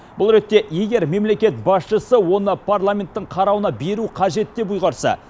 бұл ретте егер мемлекет басшысы оны парламенттің қарауына беру қажет деп ұйғарса